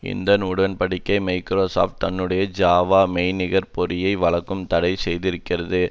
இந்த உடன் படிக்கை மைக்ரோசாப்ட் தன்னுடைய ஜாவா மெய்நிகர் பொறியை வழங்க தடை செய்திருந்தது